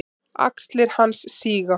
Axlir hans síga.